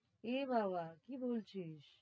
এ বাবা কি বলছিস?